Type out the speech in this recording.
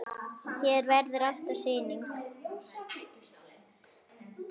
Hér verður alltaf sýning.